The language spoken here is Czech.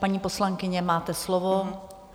Paní poslankyně, máte slovo.